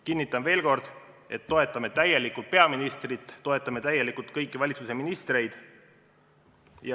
Kinnitan veel kord, et toetame täielikult peaministrit ja toetame täielikult kõiki valitsuse ministreid.